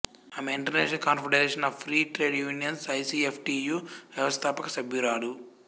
ఆమె international confederation of free trade unions ICFTU వ్యవస్థాపక సభ్యురాలు